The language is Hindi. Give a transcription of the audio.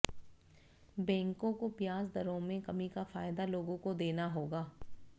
बैंकों को ब्याज दरों में कमी का फायदा लोगों को देना होगा